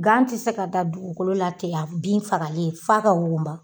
Gan ti se ka dan dugukolo la ten bin fagalen f'a ka wugunba.